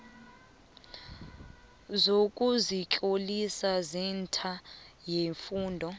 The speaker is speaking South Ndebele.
sokuzitlolisa esentha yefundo